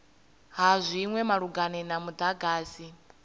ha zwinwe malugana na mudagasi